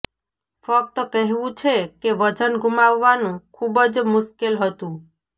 ફક્ત કહેવું છે કે વજન ગુમાવવાનું ખૂબ જ મુશ્કેલ હતું